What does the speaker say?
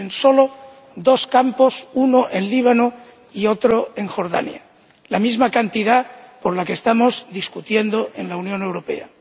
En solo dos campos —uno en el Líbano y otro en Jordania— hay la misma cantidad de refugiados por la que estamos discutiendo en la Unión Europea.